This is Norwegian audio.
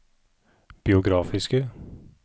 biografiske